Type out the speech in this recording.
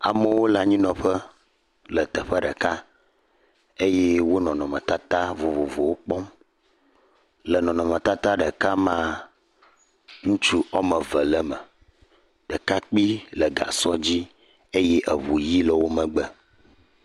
Amewo le anyinɔƒe le teƒe ɖeka eye wo le nɔnɔme tatawo vovovowo kpɔ le nɔnɔme tata ɖeka me ŋutsu wo ame eve le eme ɖeka kpui le gã sɔ dzi eʋu ɣi le wò megbe